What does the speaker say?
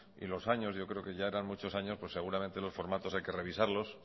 y los años yo creo que ya eran muchos años pues seguramente los formatos hay que revisarlos